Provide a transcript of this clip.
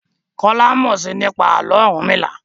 Kola mọ sii nípa Àló̩ Orunmila.